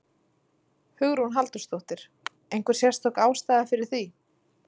Hugrún Halldórsdóttir: Einhver sérstök ástæða fyrir því?